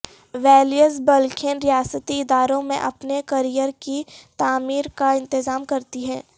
values بلخین ریاستی اداروں میں اپنے کیریئر کی تعمیر کا انتظام کرتی ہے